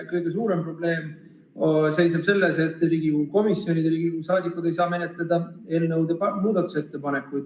Kõige suurem probleem seisneb selles, et Riigikogu komisjonid ja Riigikogu liikmed ei saa menetleda eelnõude muudatusettepanekuid.